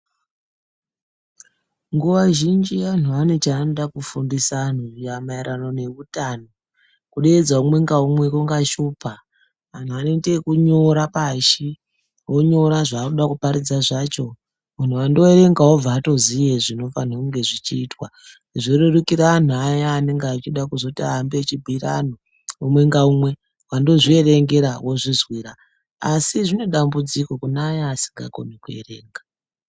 Nguva zhinji anhu ane cha anoda kufundisa anhu maererano ne hutano kudeedza umwe nga umwe kunga shupa anhu anoite yeku nyora pashi vonyora zva ari kuda kuparidza zvacho munhu ando erengawo obva atoziye zvino fane kunge zvichi itwa zvo rerukira anhu aya anenge achida kuzoti ahambe echi bhiyira anhu umwe nga umwe wando zvierengera wozvi zwira asi zvine dambudziko kune aya asika koni ku erenga.